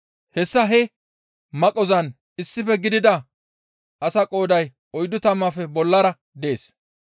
Hessa he maqqozan issife gidida asaa qooday oyddu tammaafe bollara dees.